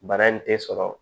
Bana in tɛ sɔrɔ